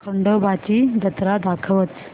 खंडोबा ची जत्रा दाखवच